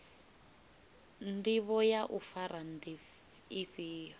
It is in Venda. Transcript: ndivho ya u fara ndi ifhio